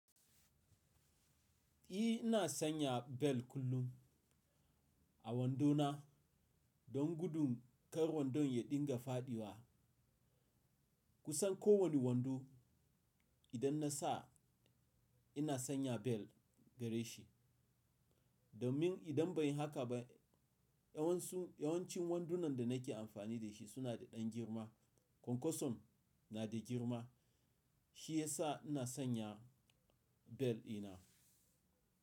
“I ina sanya bel kullum a wando na don gudun kar wandon ya dinga fadiwa. Kusan ko wane wando idan na sa ina sanya bel gare shi. Domin idan ban yi haka ba yawancin wandunan da nake amfani da shi suna da ɗan girma. Konkosom na da girma shi yasa ina sanya bel ina.”